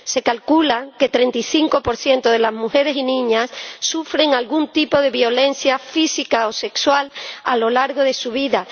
Se calcula que el 35 de las mujeres y niñas sufren algún tipo de violencia física o sexual a lo largo de su vida.